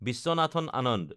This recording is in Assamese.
বিশ্বনাথন আনন্দ